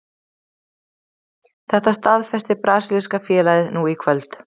Þetta staðfesti brasilíska félagið nú í kvöld.